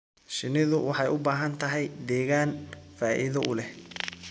Shinnidu waxay u baahan tahay deegaan faa'iido u leh.